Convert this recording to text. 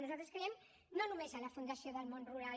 nosaltres creiem que no només a la fundació del món rural